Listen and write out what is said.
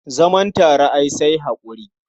Zaman tare ai sai haƙuri.